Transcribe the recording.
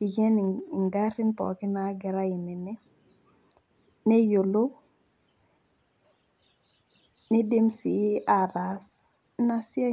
iken ingarin pookin nagira aim ine , neyiolou , nidim sii ataas inasiai.